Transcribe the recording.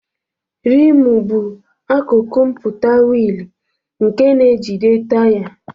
Rimu bụ akụkụ mpụta wiili nke na-ejide taya.